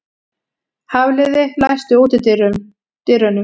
Hafliði, læstu útidyrunum.